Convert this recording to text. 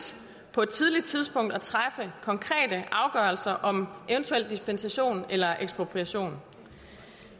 på et tidligt tidspunkt at træffe konkrete afgørelser om eventuel dispensation eller ekspropriation